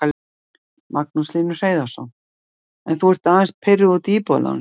Magnús Hlynur Hreiðarsson: En þú ert aðeins pirruð út í Íbúðalánasjóð?